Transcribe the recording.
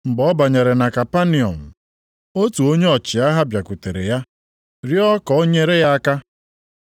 Mgbe ọ banyere na Kapanọm, + 8:5 Obodo dịkarịsịrị nso osimiri Jọdan, nʼakụkụ ndịda ugwu ọnụ mmiri Galili. otu onye ọchịagha + 8:5 Onye na-achị narị ndị agha bịakwutere ya rịọọ ka o nyere ya aka.